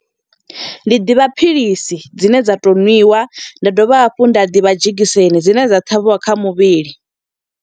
Ndi ḓivha philisi dzine dza to nwiwa, nda dovha hafhu nda ḓivha dzhegiseni dzine dza ṱhavhiwa kha muvhili.